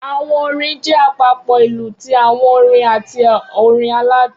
Awọn orin jẹ apapo ilu ti awọn orin ati orin aladun